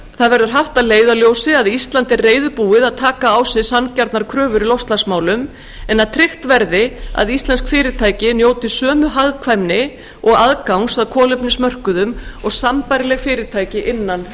þar verður haft að leiðarljósi að ísland er reiðubúið að taka á sig sanngjarnar kröfur í loftslagsmálum en að tryggt verði að íslensk fyrirtæki njóti sömu hagkvæmni og aðgang að kolefnismörkuðum og sambærileg fyrirtæki innan e s